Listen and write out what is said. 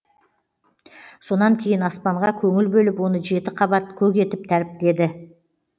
сонан кейін аспанға көңіл бөліп оны жеті қабат көк етіп тәріптеді